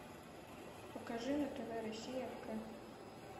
покажи на тв россия к